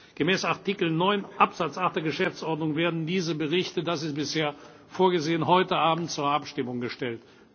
Gemäß Artikel 9 Absatz 8 der Geschäftsordnung werden diese Berichte das ist bisher vorgesehen heute Abend zur Abstimmung gestellt.